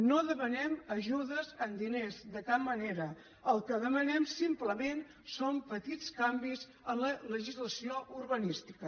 no demanem ajudes en diners de cap manera el que demanem simplement són petits canvis en la legislació urbanística